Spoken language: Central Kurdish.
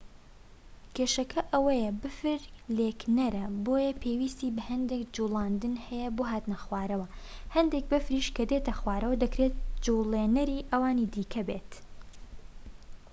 کێشەکە ئەوەیە بەفر لکێنەرە بۆیە پێویستی بەهەندێک جوڵاندن هەیە بۆ هاتنە خوارەوە و هەندێک بەفریش کە دێتە خوارەوە دەکرێت جووڵێنەری ئەوانی دیکە بێت